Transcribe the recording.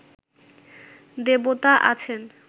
দেবতা আছেন